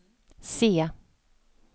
se